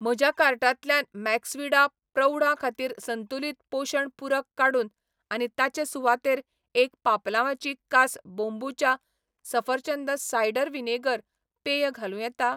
म्हज्या कार्टांतल्यान मैक्सविडा प्रौढां खातीर संतुलित पोशण पूरक काडून आनी ताचे सुवातेर एक पापलांवाची कास बोंबुचा सफरचंद सायडर व्हिनेगर पेय घालूं येता?